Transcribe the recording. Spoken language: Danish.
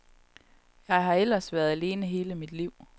Jeg har ellers været alene hele mit liv.